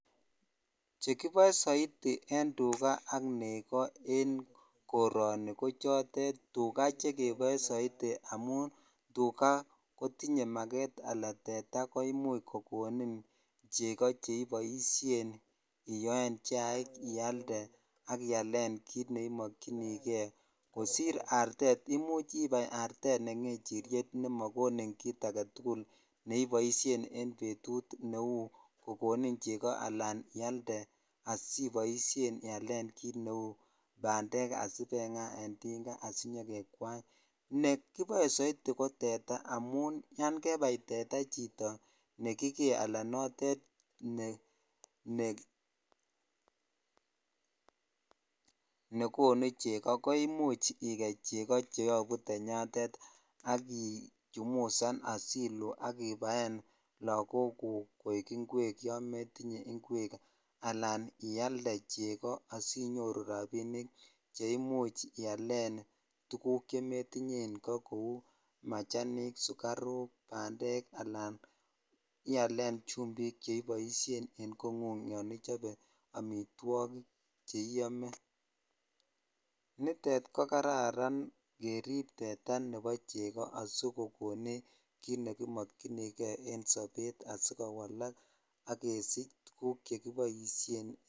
Chekiboe soiti en tukaa ak nekoo en koroni ko chotet tukaa chekeboe soiti amun tukaa kotinyen makeet alaa teta koimuch kokonin cheko cheiboishen iyoen chaik ialde ak ialen kiit neimokyinijke kosir artet, imuch ibar artet ne ng'echiriet nemokonin kiit aketukul neiboishen en betut neuu kokonin cheko alaan ialde asiboishen ialen kiit neuu bandek sibengaa en tinga asinyokekwany, nee kiboe soiti ko teta amun yoon kebai teta chito nekikee alaa notet nekonu cheko koimuch ikeii cheko cheyobu tenyatet ak ichumusan asiluu ak ibaen lokokuk koik ingwek yoon metinye ingwek alaan ialde cheko asinyoru rabinik cheimuch ialen tukuk chemetinye en koo kouu machanik, sukaruk, bandek anan ialen chumbik cheiboishen en kong'ung yoon ichobe amitwokik cheiome, nitet ko kararan kerib teta nebo cheko asikokonech kiit nekimokyinike en sobet asikowalk ak kesich tukuk chekiboishen.